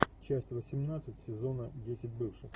часть восемнадцать сезона десять бывших